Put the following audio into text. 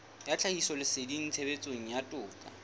ya tlhahisoleseding tshebetsong ya toka